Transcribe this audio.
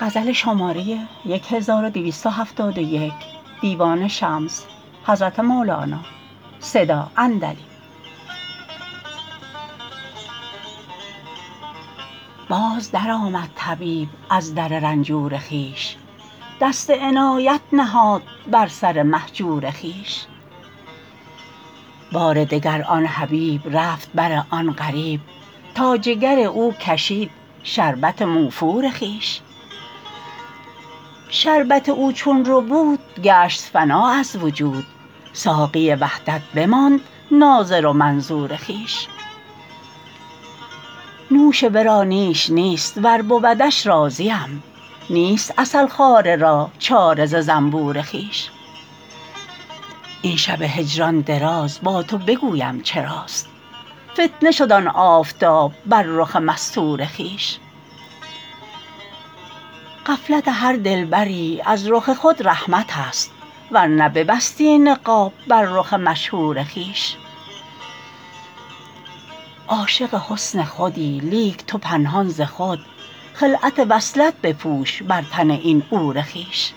باز درآمد طبیب از در رنجور خویش دست عنایت نهاد بر سر مهجور خویش بار دگر آن حبیب رفت بر آن غریب تا جگر او کشید شربت موفور خویش شربت او چون ربود گشت فنا از وجود ساقی وحدت بماند ناظر و منظور خویش نوش ورا نیش نیست ور بودش راضیم نیست عسل خواره را چاره ز زنبور خویش این شب هجران دراز با تو بگویم چراست فتنه شد آن آفتاب بر رخ مستور خویش غفلت هر دلبری از رخ خود رحمتست ور نه ببستی نقاب بر رخ مشهور خویش عاشق حسن خودی لیک تو پنهان ز خود خلعت وصلت بپوش بر تن این عور خویش